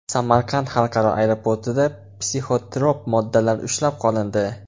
Samarqand xalqaro aeroportida psixotrop moddalar ushlab qolindi.